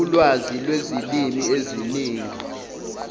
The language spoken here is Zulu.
ulwazi lwezilimi eziningi